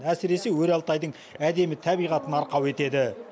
әсіресе өр алтайдың әдемі табиғатын арқау етеді